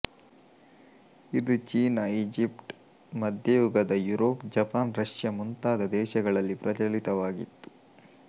ಇದು ಚೀನ ಈಜಿಪ್ಟ ಮಧ್ಯಯುಗದ ಯೂರೋಪ್ ಜಪಾನ್ ರಷ್ಯ ಮುಂತಾದ ದೇಶಗಳಲ್ಲಿ ಪ್ರಚಲಿತವಾಗಿತ್ತು